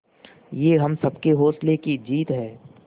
ये हम सबके हौसलों की जीत है